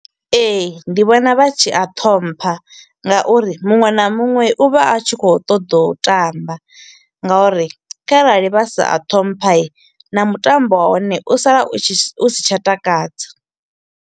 Ee, ndi vhona vha tshi a ṱhompha nga uri muṅwe na muṅwe u vha a tshi kho u ṱoḓa u tamba nga uri kharali vha sa a ṱhompha na mutambo wa hone u sala u tshi si tsha takadza.